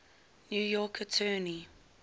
new york attorney